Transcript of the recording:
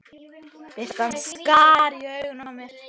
Birtan skar í augun.